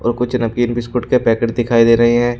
और कुछ नमकीन बिस्कुट के पैकेट दिखाई दे रहे हैं।